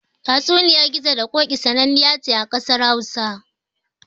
Tatsuniyar Gizo da Ƙoƙi sananniya ce ƙasar Hausa.